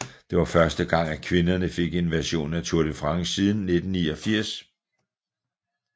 Det var første gang at kvinderne fik en version af Tour de France siden 1989